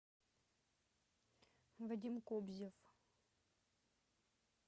вадим кобзев